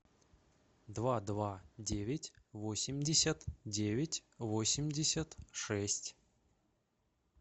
два два девять восемьдесят девять восемьдесят шесть